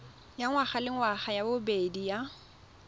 ya ngwagalengwaga ya bobedi ya